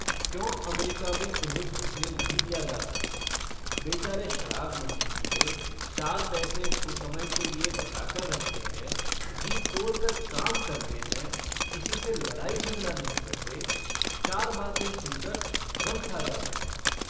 क्यों अमेरिका में उन्हें घुसने नहीं दिया जाता। बेचारे शराब नहीं पीते। चार पैसे कुसमय के लिए बचाकर रखते हैं। जी तोड़ कर काम करते हैं। किसी से लड़ाई-झगड़ा नहीं करते। चार बातें सुनकर गम खा जाते हैं।